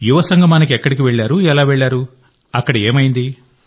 సంగమానికి ఎక్కడికి వెళ్ళారు ఎలా వెళ్ళారు ఏమైంది